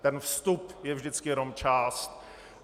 Ten vstup je vždycky jenom část.